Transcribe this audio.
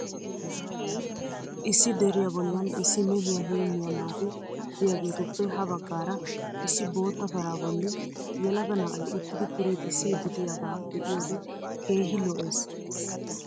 Issi deriya bollan issi mehiya heemmiya naati diyageetuppe ha baggaara issi bootta paraa bolli yelaga na'ay uttidi piriixissiiddi diyagaa be'iyode keehi lo'ees.